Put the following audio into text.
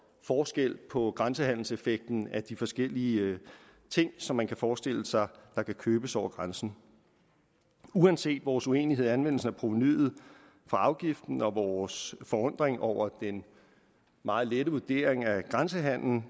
forskelligt på grænsehandelseffekten af de forskellige ting som man kan forestille sig kan købes over grænsen uanset vores uenighed om anvendelsen af provenuet fra afgiften og vores forundring over den meget lette vurdering af grænsehandelen